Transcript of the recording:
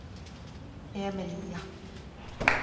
Emelía